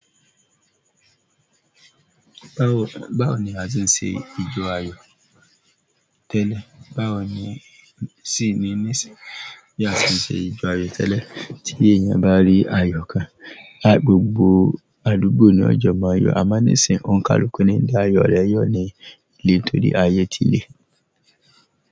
Báwo, báwo ni a ti ń ṣe ìjọ ayọ̀ tẹ́lẹ̀? Báwo ni, sì ni, níṣìnyí a ti ń ṣe ìjọ ayọ̀ tẹ́lẹ̀ tí èèyàn bá rí ayọ̀ kan. Gbogbo àdúgbò ni o jọ mọ yọ amọ nisin onikaluku lo n da ayọ rẹ yọ ni ile nítorí aye ti le.